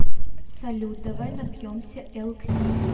салют давай напьемся элкси